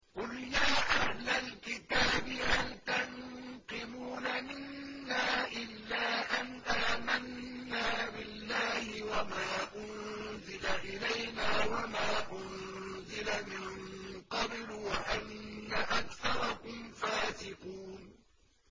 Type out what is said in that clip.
قُلْ يَا أَهْلَ الْكِتَابِ هَلْ تَنقِمُونَ مِنَّا إِلَّا أَنْ آمَنَّا بِاللَّهِ وَمَا أُنزِلَ إِلَيْنَا وَمَا أُنزِلَ مِن قَبْلُ وَأَنَّ أَكْثَرَكُمْ فَاسِقُونَ